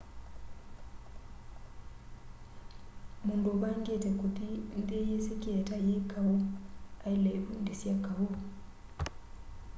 mundu uvangite kuthi nthi yisikie ta yi kau aile ivundisya kau